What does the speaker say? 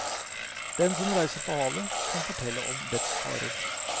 Den som reiser på havet, kan fortelle om dets farer.